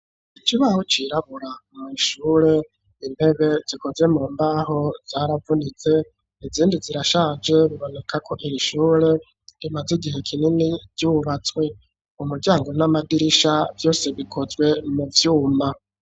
Ikibaho cirabura mw'ishure intebe zikoze mu mbaho zaravunitse izindi zirashaje biboneka ko iri ishure rimaze igihe kinini ryubatswe, umuryango n'amadirisha vyose bikozwe mu byuma.